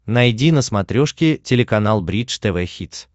найди на смотрешке телеканал бридж тв хитс